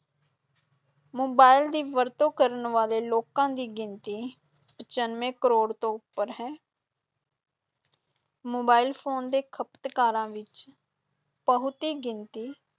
mobile ਦੀ ਵਰਤੋਂ ਕਰਨ ਵਾਲੇ ਲੋਕਾਂ ਦੀ ਗਿਣਤੀ ਪਚਾਨਵੇਂ ਕਰੋੜ ਤੋਂ ਉੱਪਰ ਹੈ ਮੋਬਾਇਲ ਫ਼ੋਨ ਦੇ ਖਪਤਕਾਰਾਂ ਵਿੱਚ ਬਹੁਤੀ ਗਿਣਤੀ